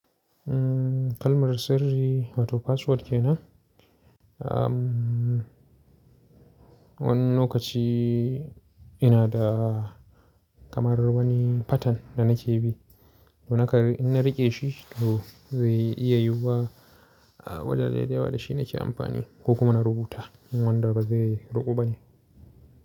Umm kalmar sirri wato password kenan? Umm wani lokaci ina da kamar wani pattern da nake bi. Don haka in na riƙe shi, to zai iya yiwuwa a wajaje da yawa da shi nake amfani ko kuma na rubuta. Wannan ba zai ruƙa ba ne.